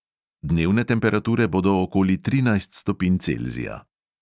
Dnevne temperature bodo okoli trinajst stopinj celzija.